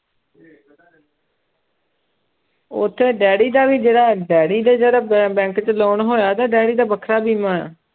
ਉੱਥੇ ਡੈਡੀ ਦਾ ਵੀ ਜਿਹੜਾ ਡੈਡੀ ਦੇ ਜਿਹੜਾ ਬ ਬੈਂਕ ਚੋਂ loan ਹੋਇਆ ਤੇ ਡੈਡੀ ਦਾ ਵੱਖਰਾ ਬੀਮਾ ਹੈ